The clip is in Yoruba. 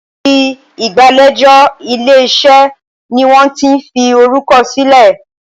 Ibi ìgbàlejò ilé-iṣẹ́ ní wón tí fí orukọ silẹ.